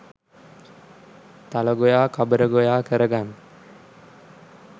තලගොයා කබරගොයා කර ගන්න